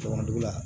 Jama dugu la